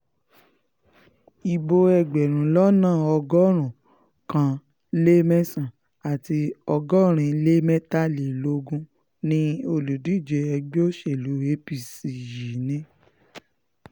ibo ẹgbẹ̀rún lọ́nà ọgọ́rùn-ún kan lé mẹ́sàn-án àti ọgọ́rin lé mẹ́tàlélógún ni olùdíje ẹgbẹ́ òṣèlú apc yìí ní